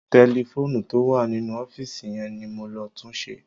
Tẹlifóònù tó wà nínú ọ́fíìsì yẹn ni mo lọ túnṣe.